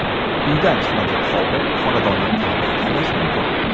Uydan chiqmagan holda xonadonni qanday tanlash mumkin.